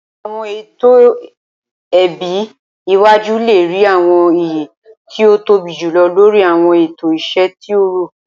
Awọn eto ẹbi iwaju le rii awọn iye ti o tobi julọ lori awọn eto iṣẹ ti o rọ.